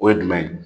O ye jumɛn ye